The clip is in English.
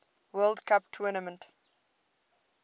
world cup tournament